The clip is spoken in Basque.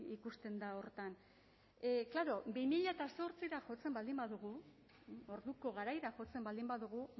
ikusten da horretan klaro bi mila zortzira jotzen baldin badugu orduko garaira jotzen baldin badugu